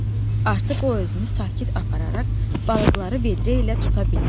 Artıq o özünü sakit apararaq balıqları vedrə ilə tuta bildi.